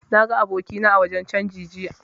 Na ga abokina a wajen canji jiya